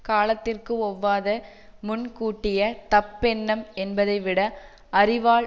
காலத்திற்கு ஒவ்வாத முன்கூட்டிய தப்பெண்ணம் என்பதைவிட அறிவால்